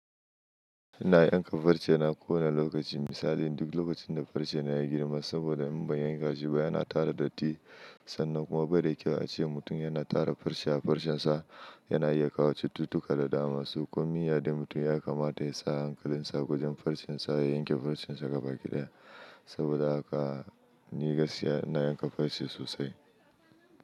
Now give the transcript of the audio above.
Ina yanka farce yana kowane lokaci misali duk lokacin da farce na ya girma saboda in ban yanka shi ba yana tara datti sannan kuma bai da kyau a ce mutum yana tara farce a farcen sa yana iya kawo cututtuka da dama so komi ya dai mutum ya kamata ya sa hankalinsa wujin farcen sa ya yanke farcen sa gabaki ɗaya saboda haka ni gaskiya ina yanka farce sosai.